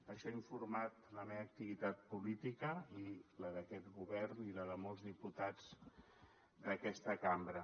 això ha informat la meva activitat política i la d’aquest govern i la de molts diputats d’aquesta cambra